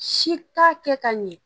Si t'a kɛ ka ɲɛ